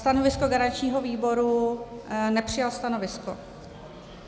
Stanovisko garančního výboru - nepřijal stanovisko.